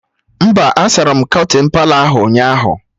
Mba, a sara m kọtịn Palọ ahụ ụnyaahụ